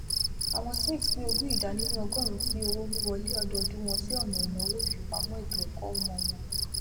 àwọn smiths pin ogún ida ninu ọgọrun ti owówíwọlé ọdọdún wọn sí ọnà ináwó ìfipamọ ètòẹkọ ọmọ wọn